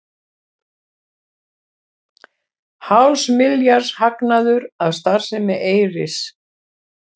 Hálfs milljarðs hagnaður af starfsemi Eyris